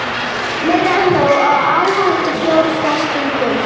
Meira en nóg af áhættufjárfestingum